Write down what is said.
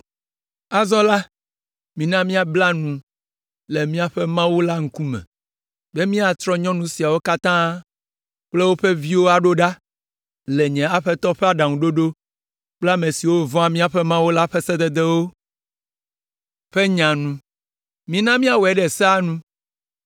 Azɔ la, mina míabla nu le míaƒe Mawu la ŋkume be míatrɔ nyɔnu siawo katã kple woƒe viwo aɖo ɖa, le nye aƒetɔ ƒe aɖaŋuɖoɖo kple ame siwo vɔ̃a míaƒe Mawu la ƒe sededewo ƒe nya nu. Mina míawɔe ɖe sea nu.